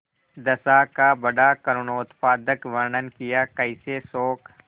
दशा का बड़ा करूणोत्पादक वर्णन कियाकैसे शोक